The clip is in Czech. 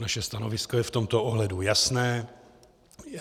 Naše stanovisko je v tomto ohledu jasné.